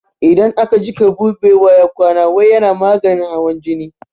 Idan aka jiƙa buɓewa ya kwana wai yana maganin hawan jini